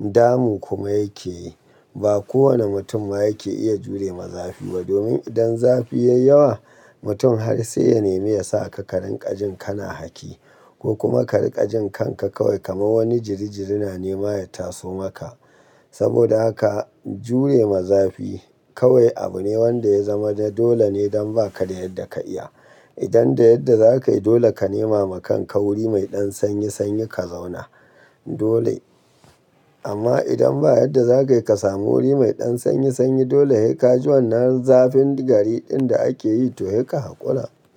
damu kuma yake yi. Ba kowane mutum ma yake iya jure ma zafi ba domin idan zafi ya yi yawa mutum har sai ya nemi ya sa ka ka rinƙaji kana haki. Ko kuma ka rinƙaji kanka kawai kamar wani jirijiri na nema ya taso maka. Saboda haka jure ma zafi kawai abu ne wanda ya zama dole ne don ba ka da yadda ka iya. Idan da yadda za ka yi dole ka nema ma kan ka wuri mai ɗan sanyi sanyi ka zauna. Dole. Amma idan ba yadda za ka yi ka samu wuri mai ɗan sanyi sanyi dole sai ka ji wannan zafin gari ɗin da ake yi to hei ka hakura.